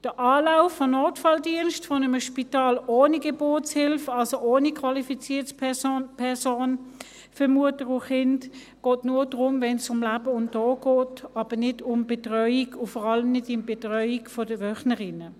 Die Aufnahme durch den Notfalldienst eines Spitals ohne Geburtshilfe, also ohne qualifiziertes Personal für Mutter und Kind, geht nur dann, wenn es um Leben und Tod geht, aber nicht um Betreuung, und vor allem nicht um die Betreuung der Wöchnerinnen.